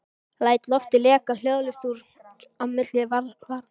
Læt loftið leka hljóðlaust út á milli varanna.